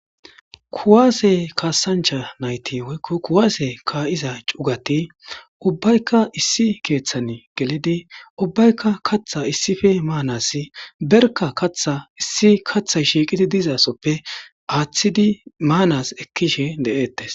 Kuwasse kassanchcha nayththi woyikko kuwasse ka'ezza chugging ubbayikka issi keththa geliddi ubbayikka kaththa issippe manassi berikka kaththay shiqqidi dizaysa aththidi manas ekkishe de'etes.